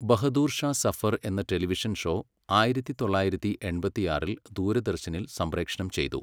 ബഹദൂർ ഷാ സഫർ എന്ന television show ആയിരത്തി തൊള്ളായിരത്തി എൺപത്തിയാറിൽ ദൂരദർശനിൽ സംപ്രേക്ഷണം ചെയ്തു.